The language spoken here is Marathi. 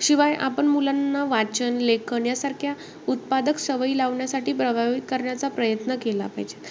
शिवाय, आपण मुलांना वाचन, लेखन यासारख्या उत्पादक सवयी लावण्यासाठी प्रभावित करण्याचा प्रयत्न केला पाहिजे.